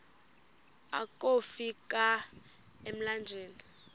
akofi ka emlanjeni